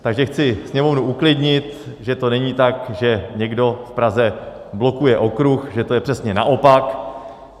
Takže chci Sněmovnu uklidnit, že to není tak, že někdo v Praze blokuje okruh, že to je přesně naopak.